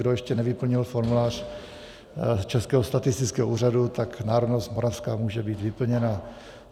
Kdo ještě nevyplnil formulář Českého statistického úřadu, tak národnost moravská může být vyplněna.